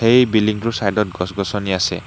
এই বিল্ডিং টোৰ চাইদত গছ-গছনি আছে।